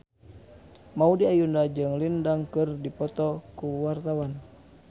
Maudy Ayunda jeung Lin Dan keur dipoto ku wartawan